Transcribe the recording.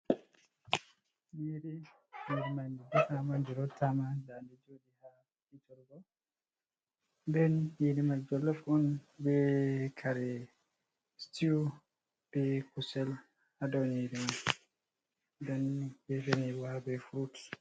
Nyiri. Nyiri man bitamaj rottama nda ndi joɗi ha hitorgo den nyiri man jolof on be kare stiw, be kusel ha dou nyiri man den be fenirwa be frut.